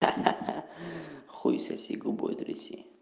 ха-ха хуй соси губой тряси